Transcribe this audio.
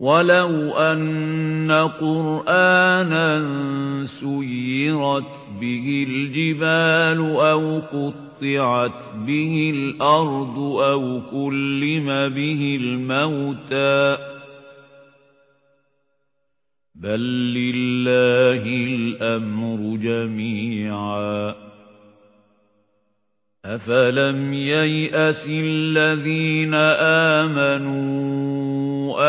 وَلَوْ أَنَّ قُرْآنًا سُيِّرَتْ بِهِ الْجِبَالُ أَوْ قُطِّعَتْ بِهِ الْأَرْضُ أَوْ كُلِّمَ بِهِ الْمَوْتَىٰ ۗ بَل لِّلَّهِ الْأَمْرُ جَمِيعًا ۗ أَفَلَمْ يَيْأَسِ الَّذِينَ آمَنُوا